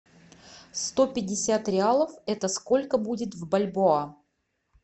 сто пятьдесят реалов это сколько будет в бальбоа